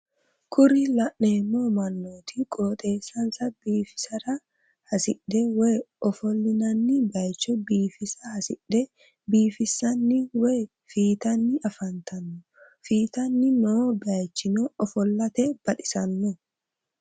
kuri la'neemo mannooti qooxeesansa bifisira hasidhe woye ofollinanni bayiicho biifisa hasidhe biifisanni woye fiitanni afantanno fitanni noo bayiichino ofollate baxisanno.